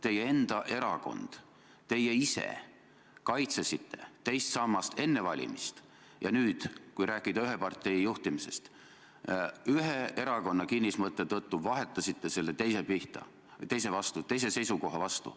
Teie enda erakond ja teie ise kaitsesite enne valimist teist sammast, aga nüüd vahetasite selle ühe erakonna kinnismõtte tõttu selle teise seisukoha vastu.